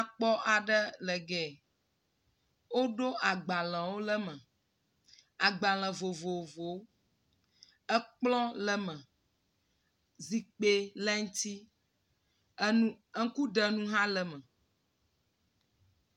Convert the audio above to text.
Xɔ nyakpɔ ga le Ge woɖo agbalẽwo le eme, agbalẽ vovovowo, ekplɔ le eme, zikpe le eŋuti ŋku ɖe nu hã le eme.